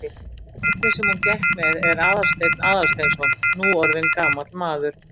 Barnið sem hún gekk með er Aðalsteinn Aðalsteinsson, nú orðinn gamall maður.